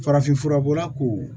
Farafinfura bɔla ko